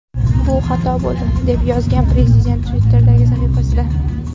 Bu xato bo‘ldi”, deb yozgan prezident Twitter’dagi sahifasida.